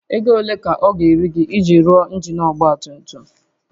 Ego ole ka ọ ga-eri gị iji rụọ injin ọgba tum tum?